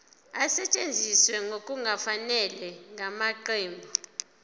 esetshenziswe ngokungafanele ngamaqembu